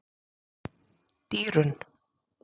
Dýrunn